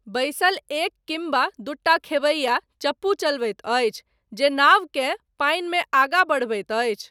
बैसल एक किम्बा दूटा खेबैया, चप्पू चलबैत अछि, जे नावकेँ पानिमे आगाँ बढ़बैत अछि।